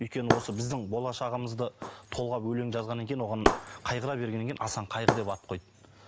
өйткені осы біздің болашағымызды толғап өлең жазғаннан кейін оған қайғыра бергеннен кейін асан кайғы деп ат қойды